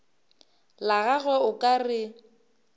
la gagwe o ka re